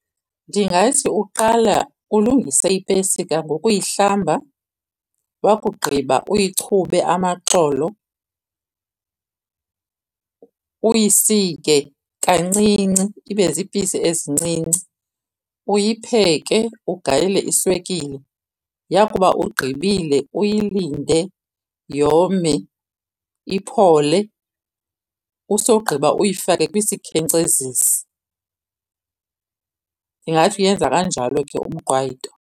Ndingathi uqala ulungise ipesika ngokuyihlamba wakugqiba uyichube amaxolo. Uyisike kancinci ibe ziipisi ezincinci, uyipheke ugalele iswekile. Yakuba ugqibile, uyilinde yome, iphole, usogqiba uyifake kwisikhenkcezisi. Ndingathi uyenza kanjalo ke umqwayito.